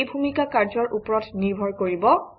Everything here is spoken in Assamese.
এই ভূমিকা কাৰ্যৰ ওপৰত নিৰ্ভৰ কৰিব